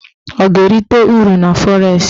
Ọ ga-erite uru na fọres?